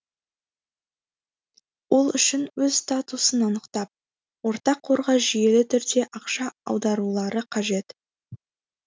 ол үшін өз статусын анықтап ортақ қорға жүйелі түрде ақша аударулары қажет